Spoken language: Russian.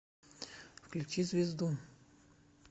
включи звезду